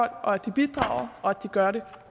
at de bidrager og at de gør det